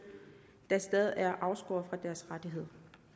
der stadig er afskåret fra deres rettigheder